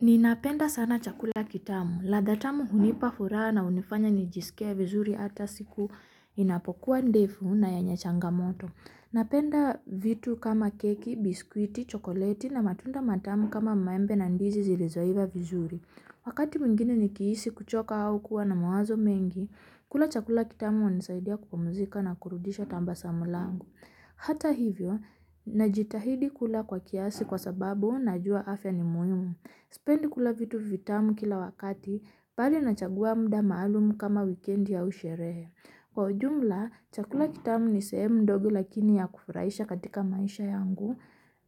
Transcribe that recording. Ni napenda sana chakula kitamu, ladha tamu hunipa furaha na hunifanya nijisikie vizuri hata siku inapokuwa ndefu na yenye changamoto. Napenda vitu kama keki, biskuiti, chokoleti na matunda matamu kama maembe na ndizi zilizoiva vizuri. Wakati mwingine nikihisi kuchoka au kuwa na mawazo mengi, kula chakula kitamu hunisaidia kupumzika na kurudisha tabasamu langu Hata hivyo, najitahidi kula kwa kiasi kwa sababu najua afya ni muhimu. Sipendi kula vitu vitamu kila wakati, mbali nachagua muda maalumu kama wikendi ya sherehe. Kwa ujumla, chakula kitamu ni sehemu ndogo lakini ya kufurahisha katika maisha ya ngu,